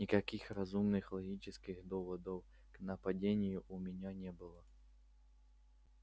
никаких разумных логических доводов к нападению у меня не было